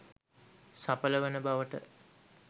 සඵල වන බවට